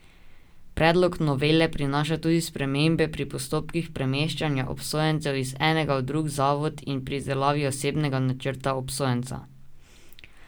Predlog novele prinaša tudi spremembe pri postopkih premeščanja obsojencev iz enega v drug zavod in pri izdelavi osebnega načrta obsojenca.